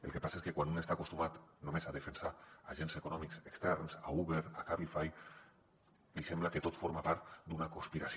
el que passa és que quan un està acostumat només a defensar agents econòmics externs uber cabify li sembla que tot forma part d’una conspiració